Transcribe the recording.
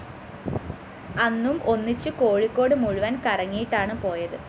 അന്നും ഒന്നിച്ച് കോഴിക്കോട് മുഴുവന്‍ കറങ്ങിയിട്ടാണ് പോയത്